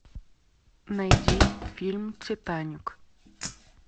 найди фильм титаник